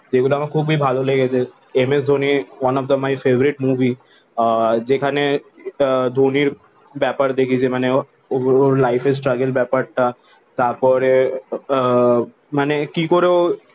যেই গুলো আমার খুবই ভালো লেগেছে MS Dhoni one of the my favorite movie আহ যেখানে যেটা ধোনির ব্যাপার দেখিয়েছে ওর ওর লিফের স্ট্রাগগলে ব্যাপার টা তার পরে আহ মানে কি করে ও